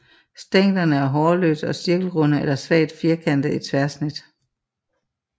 Stænglerne er hårløse og cirkelrunde eller svagt firkantede i tværsnit